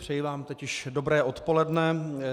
Přeji vám teď již dobré odpoledne.